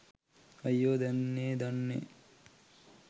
අයියෝ දැන්නේ දන්නේ